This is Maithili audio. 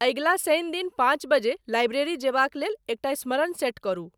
अगिला शनि दिन पाँच बजे लाइब्रेरी जयबाक लेल एकटा स्मरण सेट करू।